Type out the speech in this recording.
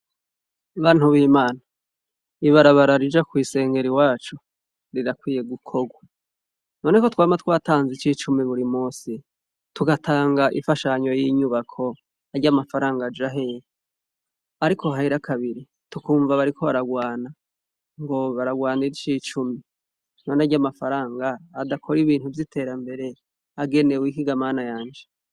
Bantu bimana ibarabara rija kw'isengero iwacu rirakwiye gukorwa none ko twama twatanze ici cumi buri musi, tugatanga ifashanyo y'inyubako arya mafaranga aja hehe, ariko hahera kabiri tukumva bariko bararwana, ngo bararwanira ici cumi, none arya mafaranga atakora ibintu vyiterambere agenewe iki ga mana yanje.